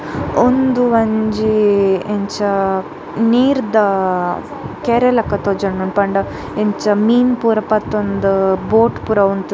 ಉಂದು ಒಂಜಿ ಇಂಚ ನೀರ್ದ ಕೆರೆಲಕ ತೋಜೊಂದುಂಡು ಪಂಡ ಇಂಚ ಮೀನ್ ಪೂರ ಪತೊಂದು ಬೋಟ್ ಪೂರ ಉಂತ್ --